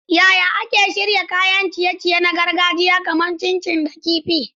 Yaya ake shirya kayan ciye-ciye na gargajiya kamar chin chin da kifi kifi?